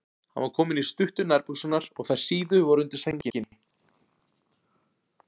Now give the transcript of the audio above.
Hann var kominn í stuttu nærbuxurnar og þær síðu voru undir sænginni.